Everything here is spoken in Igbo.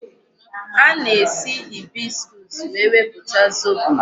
A na-esi hibiscus wee wepụta zobo.